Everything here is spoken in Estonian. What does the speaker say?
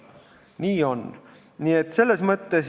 Nii on.